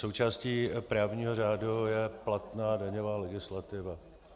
Součástí právního řádu je platná daňová legislativa.